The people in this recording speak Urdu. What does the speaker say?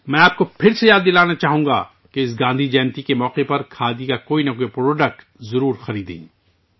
میں آپ کو ایک بار پھر یاد دلانا چاہتا ہوں کہ گاندھی جینتی کے موقع پر آپ کو کھادی کی کوئی مصنوعات ضرور خریدنی چاہیے